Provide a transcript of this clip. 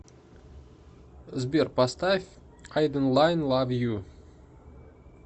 сбер поставь айденлайн лав ю